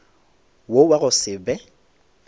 wo wa go se be